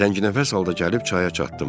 Tənginəfəs halda gəlib çaya çatdım.